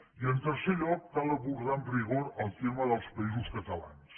i en tercer lloc cal abordar amb rigor el tema dels països catalans